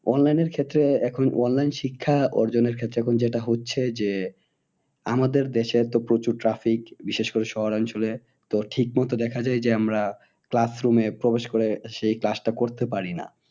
Online এর ক্ষেত্রে এখন online শিক্ষা অর্জনের ক্ষেত্রে এখন যেটা হচ্ছে যে। আমাদের দেশে তো প্রচুর traffic বিশেষ করে শহর অঞ্চলে তো ঠিক মতো দেখা যায় যে আমরা class room এ প্রবেশ করে সেই class টা করতে পারি না।